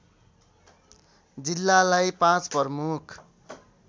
जिल्लालाई पाँच प्रमुख